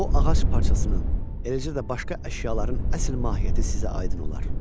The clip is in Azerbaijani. o ağac parçasının, eləcə də başqa əşyaların əsl mahiyyəti sizə aydın olar.